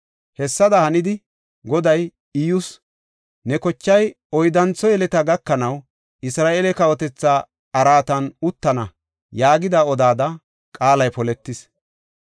Hessada hanidi, Goday Iyyus, “Ne kochay oyddantho yeleta gakanaw, Isra7eele kawotetha araatan uttana” yaagidi odida qaalay poletis.